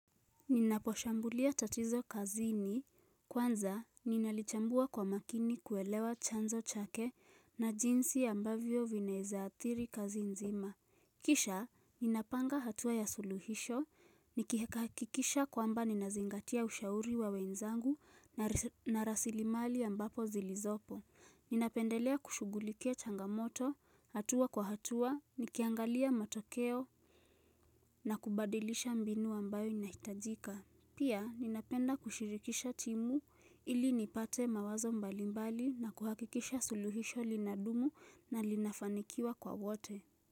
Ninaposhambulia tatizo kazini, kwanza ninalichambua kwa makini kuelewa chanzo chake na jinsi ambavyo vinaweza adhiri kazi nzima Kisha ninapanga hatua ya suluhisho, nikihakikisha kwamba ninazingatia ushauri wa wenzangu na rasilimali ambapo zilizopo Ninapendelea kushughulikia changamoto, hatua kwa hatua, nikiangalia matokeo na kubadilisha mbinu ambayo inahitajika Pia ninapenda kushirikisha timu ili nipate mawazo mbalimbali na kuhakikisha suluhisho linadumu na linafanikiwa kwa wote.